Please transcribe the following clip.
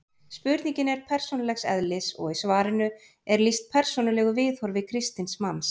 Spurningin er persónulegs eðlis og í svarinu er lýst persónulegu viðhorfi kristins manns.